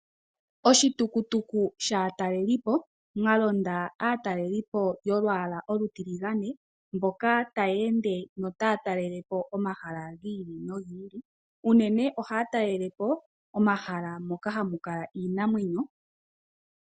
Oshitukutuku shaatalelipo, mwalonda aatalelipo yolwaala olutiligane, mboka taya ende yo otaya talelepo omahala gi ili nogi ili. Unene ohaya talele po momahala moka hamu kala iinamwenyo.